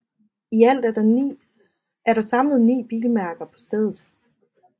I alt er der samlet ni bilmærker på stedet